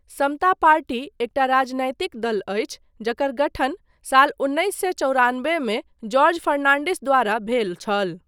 समता party एकटा राजनैतिक दल अछि जकर गठन साल उन्नैस सए चौरानबे मे जॉर्ज फर्नान्डिस द्वारा भेल छल।